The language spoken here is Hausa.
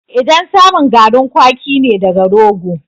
Idan samun garin kwaki ne daga rogo